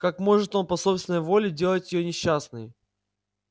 как может он по собственной воле делать её несчастной